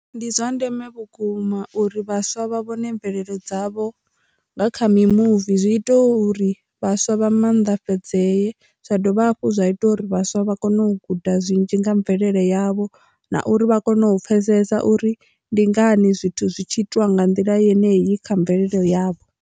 Ndi zwa ndeme vhukuma uri vhaswa vha vhone mvelelo dzavho nga kha mimuvi. Zwi ita uri vhaswa vha maanḓafhadzee zwa dovha hafhu zwa ita uri vhaswa vha kone u guda zwinzhi nga mvelele yavho na uri vha kone u pfhesesa uri ndi ngani zwithu zwi tshi itiwa nga nḓila yeneyi kha mvelele yavho.